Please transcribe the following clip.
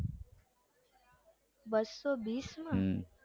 બસો બિસમાં